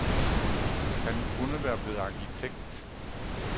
Han kunne være blevet arkitekt.